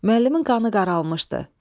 Müəllimin qanı qaralmışdı.